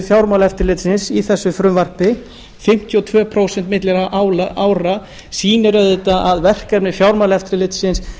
fjármálaeftirlitsins í þessu frumvarpi fimmtíu og tvö prósent á milli ára sýnir auðvitað að verkefni fjármálaeftirlitsins